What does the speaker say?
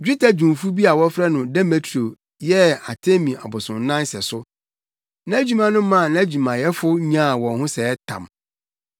Dwetɛdwumfo bi a wɔfrɛ no Demetrio yɛɛ Artemi abosonnan sɛso. Nʼadwuma no maa nʼadwumayɛfo nyaa wɔn ho sɛɛ tam.